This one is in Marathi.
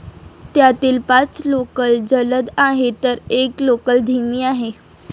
त्यातील पाच लोकल जलद आहेत तर एक लोकल धीमी आहे.